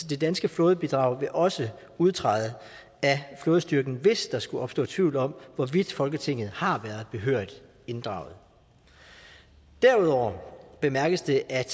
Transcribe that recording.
det danske flådebidrag vil også udtræde af flådestyrken hvis der skulle opstå tvivl om hvorvidt folketinget har været behørigt inddraget derudover bemærkes det at